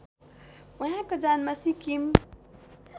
उहाँको जन्म सिक्किम